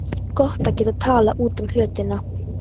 Gott að geta talað út um hlutina.